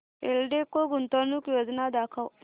एल्डेको गुंतवणूक योजना दाखव